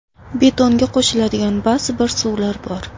Betonga qo‘shiladigan ba’zi bir suvlar bor.